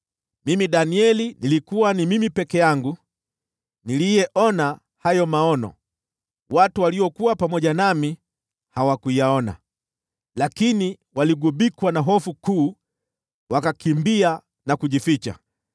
Mimi Danieli, ni mimi peke yangu niliyeona hayo maono; watu waliokuwa pamoja nami hawakuyaona, lakini waligubikwa na hofu kuu, hata wakakimbia na kujificha.